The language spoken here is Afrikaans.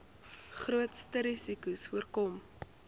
grootste risikos voorkom